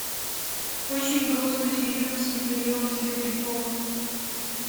очень грустный фильм с михаилом серебряковым